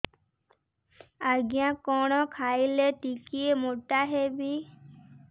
ଆଜ୍ଞା କଣ୍ ଖାଇଲେ ଟିକିଏ ମୋଟା ହେବି